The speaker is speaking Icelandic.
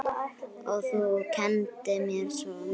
Þú kenndir mér svo margt.